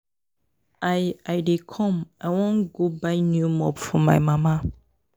I I dey come I wan go buy new mop for my mama